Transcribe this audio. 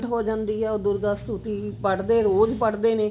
ਹੋ ਜਾਂਦੀ ਆ ਉਹ ਪੜਦੇ ਰੋਜ਼ ਪੜਦੇ ਨੇ